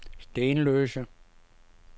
Stenløse